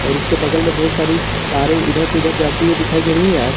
और उसके बगल में ढेर सारी तारे इधर से उधर जाती हुई दिखाई दे रही है।